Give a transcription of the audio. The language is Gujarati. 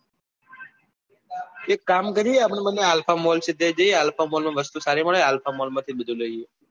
એક કામ કરીએ આપડે બન્ને alpha mall માં જઈએ alpha mall માં વસ્તુ સારી મળે alpha mall આથી જ બધું લઈએ